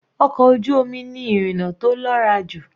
Ọkọ̀ ojú omi ni ìrìna tó lọ́ra jù.